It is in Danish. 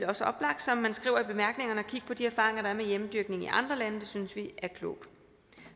også oplagt som man skriver i bemærkningerne at kigge på de erfaringer der er med hjemmedyrkning i andre lande det synes vi er klogt